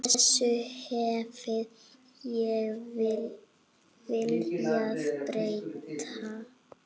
Þessu hefði ég viljað breyta.